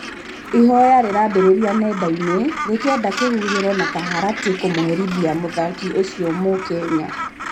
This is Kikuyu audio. ihoya rĩrambĩrĩirio nenda-inĩ rĩkĩenda kihũhĩro na kaharatĩ kumũherĩthia mũthaki ũcio Mũkenya